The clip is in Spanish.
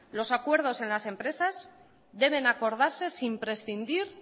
los acuerdos en las empresas deben acordarse sin prescindir